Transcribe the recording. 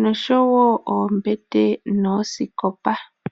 nosho woo oombete noosikopa.